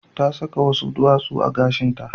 Ta saka wasu duwatsu a gashinta.